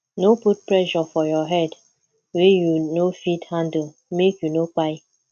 no put pressure for your head wey you no fit handle make you no kpai